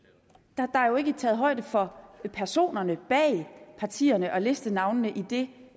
der er jo ikke taget højde for personerne bag partierne og listenavnene i det